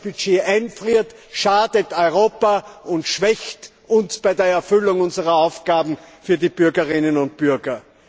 Wer das Budget einfriert, schadet Europa und schwächt uns bei der Erfüllung unserer Aufgaben für die Bürgerinnen und Bürger.